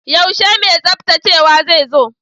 Yaushe mai tsaftacewa zai zo?